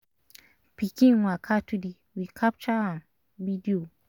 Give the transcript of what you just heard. pikin waka today we capture am video.